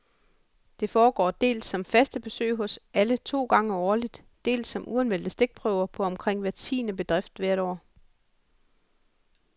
Det foregår dels som faste besøg hos alle to gange årligt, dels som uanmeldte stikprøver på omkring hver tiende bedrift hvert år.